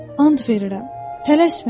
and verirəm, tələsməyin.